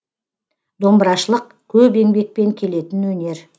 домбырашылық көп еңбекпен келетін өнер